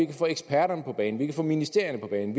vi få eksperterne på banen vi få ministerierne på banen